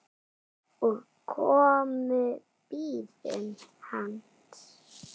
og komu bíðum hans